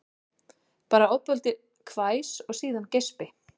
Bara ofboðlítið hvæs og síðan geispi